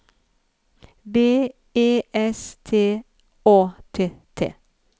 B E S T Å T T